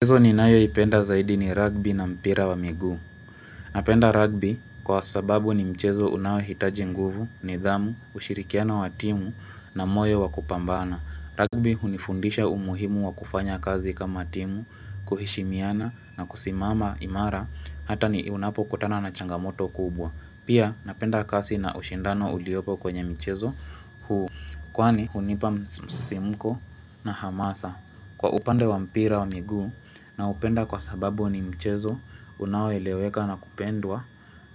Mihezo ni nayo ipenda zaidi ni rugbi na mpira wa miguu. Napenda rugby kwa sababu ni mchezo unawahitaji nguvu, nidhamu, ushirikiano wa timu na moyo wa kupambana. Rugby unifundisha umuhimu wa kufanya kazi kama timu, kuhishimiana na kusimama imara, hata ni unapo kutana na changamoto kubwa. Pia napenda kasi na ushindano uliopo kwenye mchezo huu. Kwani unipa msisimuko na hamasa kwa upande wa mpira wa miguu na upenda kwa sababu ni mchezo unaoeleweka na kupendwa